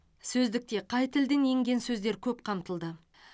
сөздікте қай тілден енген сөздер көп қамтылды